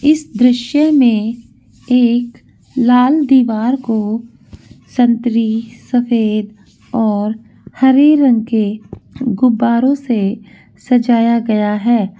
इस दृश्य में एक लाल दिवार को संतरे सफ़ेद और हरे रंग के गुब्बारों से सजाया गया है।